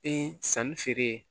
Ee sanni feere ye